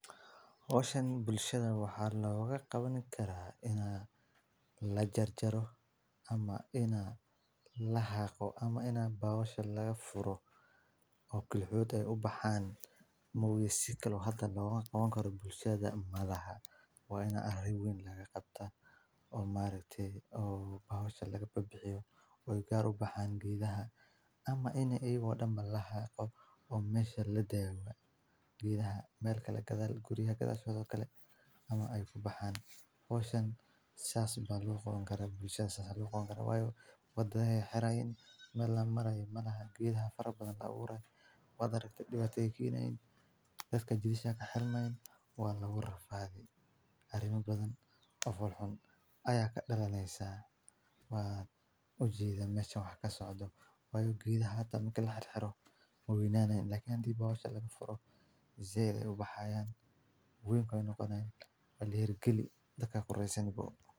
Hooshan bulshada waxa lagaga qaban karaa inaa la jarjaro ama inaa la haqo ama inaa bawasha laga furo oo kelixood ay u baxaan. Magaciibto loo hataa lagaga qaban karo bulshada maraha, waayna arrin weyn laga qabta oo maar aheey oo bawasha laga babi ciyo. Way gaar u baxaan giidhaha ama inay iyagu dhamma la hayo oo meesha la daawo giidhaha meel ka gadaal guriha kada hadalkale ama ay ku baxaan hooshin saas bano loo qaban karo bulshada saas loo qaban karo. Waa way u badan hiray in mele la maray manahan. Giidha farabadan la uuray wada dadka dibada tekiinayn dadka jirka ka xalma in waa la urur faa'iid. Arrimo badan u fol xun ayaa ka dhalo neysa. Waad u jiida meeshan wax ka socdo waayo giidha hadda markii la xirxiro muwiinaanayn. Lakiin diibba bawsha laga furay. Zeer ay u baxayaan weynkood inuu qodnayn. Oo la heli karin dhaqa ko rasmi bood.